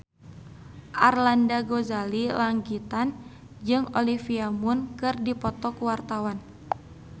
Arlanda Ghazali Langitan jeung Olivia Munn keur dipoto ku wartawan